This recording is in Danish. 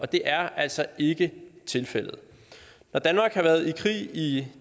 det er altså ikke tilfældet når danmark har været i krig i